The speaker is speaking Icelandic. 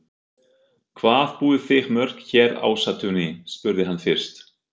Hvað búið þið mörg hér í Ásatúni? spurði hann fyrst.